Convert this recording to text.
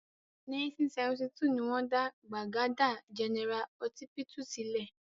1972 ni wọ́n dá Gbagada General Họsípítù sílẹ̀.